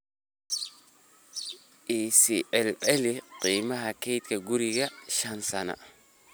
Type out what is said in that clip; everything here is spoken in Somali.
i sii celceliska qiimaha kaydka guryaha shan sano